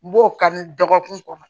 N b'o kan dɔgɔkun kɔnɔ